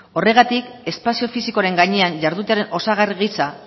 horregatik espazio fisikoren gainean jardutearen osagarri gisa